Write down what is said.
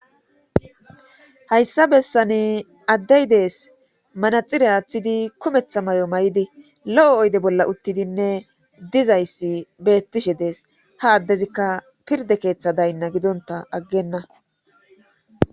hayssa bessani addey de7es manaxire aaththidi kumetha may7o may7idi lo7o oyde bolla uttidinne dizayssi bettishe dees ha addezikka pirde keeththa daynna gidonta aggenna